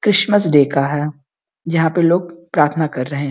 Christmas day का है। जहाँ पे लोग प्रार्थना कर रहें --